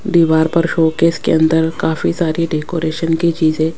दीवार पर शोकेस के अंदर काफी सारी डेकोरेशन की चीजे--